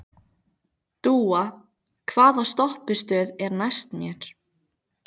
Dúa, hvaða stoppistöð er næst mér?